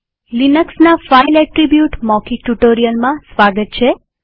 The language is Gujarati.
લિનક્સના ફાઈલ એટ્રીબ્યુટ મૌખિક ટ્યુ્ટોરીઅલમાં સ્વાગત છે